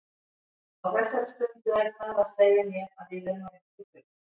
Á þessari stundu er það að segja mér að við erum á réttri braut.